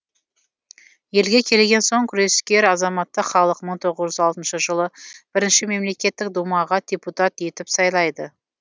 елге келген соң күрескер азаматты халық мың тоғыз жүз алтыншы жылы бірінші мемлекеттік думаға депутат етіп сайлайды